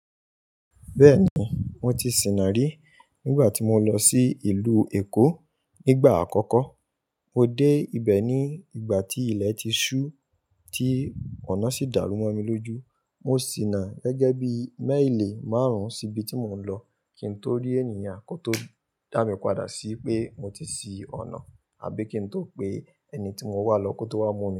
Bẹ́ẹ̀ni, mo ti sìnà rí nígbà tí mo lọ sí ìlú Èkó nígbà àkọ́kọ́. Mo dé ibẹ̀ ní ìgbà tí ilẹ̀ ti ṣú, tí ọ̀nà sì dàrú mo mi lójú. Mo sìnà gẹ́gẹ́ bí mẹ́ìlì márùn-ún síbi tí mò ń lọ kí n tó rí ènìyàn kó tó dá mi padà sí pé mo ti sí ọ̀nà àbí kí n tó pe ẹni tí mò ń wá lọ kó tó wá mú mi.